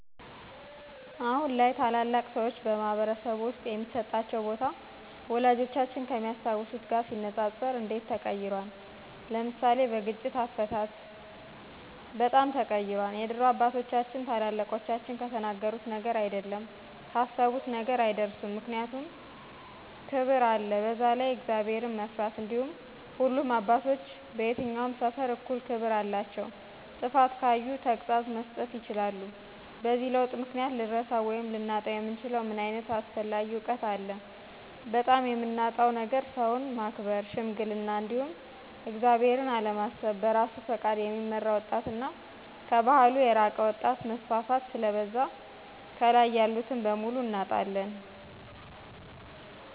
አሁን ላይ ታላላቅ ሰዎች በማኅበረሰብ ውስጥ የሚሰጣቸው ቦታ፣ ወላጆቻችን ከሚያስታውሱት ጋር ሲነጻጸር እንዴት ተቀይሯል? (ለምሳሌ: በግጭት አፈታት)? በጣም ተቀይሯል የድሮ አባቶቻችን ታላቆቻቸው ከተናገሩት ነገር አይደለም ካሰቡት ነገር አይደርሱም ምክንያቱም ክብር አለ በዛላይ እግዚአብሔርን መፍራት እንዲሁም ሁሉም አባቶች በየትኛውም ሰፈር እኩል ክብር አላቸው ጥፋት ካዩ ተግሳፅ መስጠት ይችላሉ። በዚህ ለውጥ ምክንያት ልንረሳው ወይም ልናጣው የምንችለው ምን ዓይነት አስፈላጊ እውቀት አለ? በጣም የምናጣው ነገር ሠውን ማክበር, ሽምግልና, እንዲሁም እግዚአብሔርን አለማሰብ በራሱ ፈቃድ የሚመራ ወጣት እና ከባህሉ የራቀ ወጣት መስፋፋት ስለበዛ ካላይ ያሉትን በሙሉ እናጣለን።